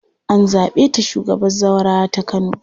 An zaɓe ta shugabar zaurawa ta Kano.